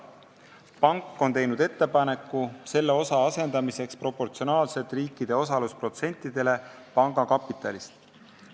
Pank on teinud ettepaneku selle osa asendamiseks proportsionaalselt riikide osalusprotsendile panga kapitalist.